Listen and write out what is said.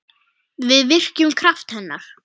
Við virkjum kraft hennar.